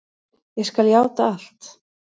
Ég skal játa allt.